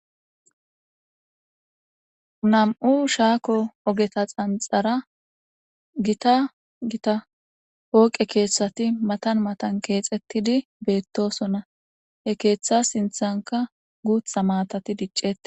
Nam'u shako ogeta xanxara gita gita poqe kethati matan matan kexetidi betosona he ketha sinthanka guta matati dic'etes.